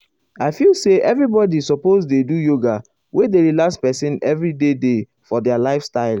i feel say everybody suppose dey do yoga wey dey relax person every day day for their lifestyle.